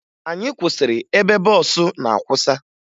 Anyị kwụsịrị ebe bọọsụ na-akwụsa